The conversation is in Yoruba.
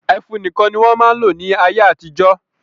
Ẹfun nìkan ni wọ́n máa ń lò ní ayé-àtijọ́.